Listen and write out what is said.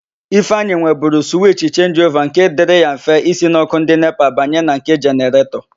Ifeanyi nweburu suwich chenjiova nke dịrị ya mfe ísī n' ọ́kụ́ ndị NEPA banye na nke jeneretọ.